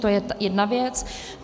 To je jedna věc.